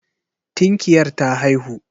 Tinkiyar ta haihu.